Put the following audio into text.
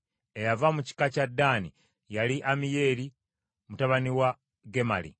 Eyava mu kika kya Ddaani yali Ammiyeri mutabani wa Gemali.